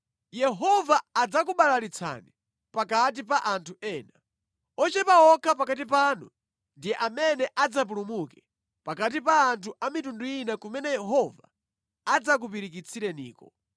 Yehova adzakubalalitsani pakati pa anthu ena. Ochepa okha pakati panu ndi amene adzapulumuke pakati pa anthu a mitundu ina kumene Yehova adzakupirikitsireniko.